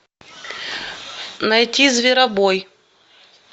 найти зверобой